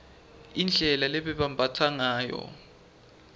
indlela lebebambatsa ngayo